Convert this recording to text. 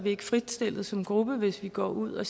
ikke fritstillet som gruppe hvis vi går ud og